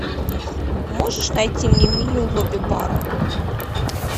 можешь найти мне меню лобби бара